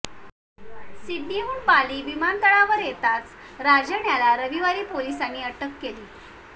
सिडनीहून Bali विमानतळावर येताच राजन याला रविवारी पोलिसांनी अटक केली